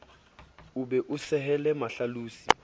o be o sehelle mahlalosi